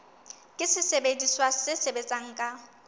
ke sesebediswa se sebetsang ka